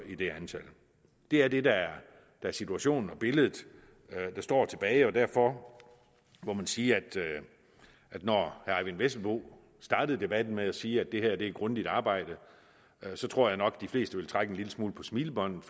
i det antal det er det der er situationen og billedet der står tilbage derfor må man sige at når herre eyvind vesselbo startede debatten med at sige at det her var et grundigt arbejde så tror jeg nok de fleste vil trække en lille smule på smilebåndet